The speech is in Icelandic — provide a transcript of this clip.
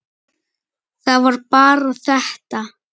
Það var bara þetta.